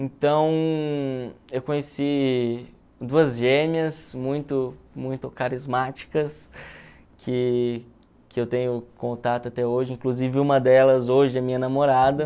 Então, eu conheci duas gêmeas muito muito carismáticas que que eu tenho contato até hoje, inclusive uma delas hoje é minha namorada.